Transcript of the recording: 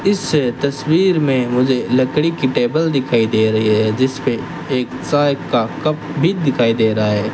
इस तस्वीर में मुझे लकड़ी के टेबल दिखाई दे रही है जिस पे एक साहेब का कप भी दिखाई दे रहा है।